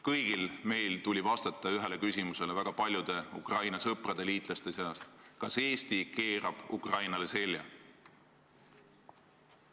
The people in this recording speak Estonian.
Kõigil meil tuli vastata väga paljude Ukraina sõprade, liitlaste hulka kuuluvate inimeste küsimusele: kas Eesti keerab Ukrainale selja?